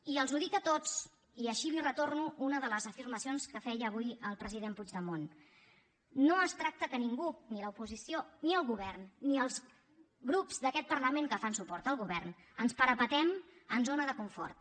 i els ho dic a tots i així li retorno una de les afirmacions que feia avui el president puigdemont no es tracta que ningú ni l’oposició ni el govern ni els grups d’aquest parlament que fan suport al govern ens parapetem en zona de confort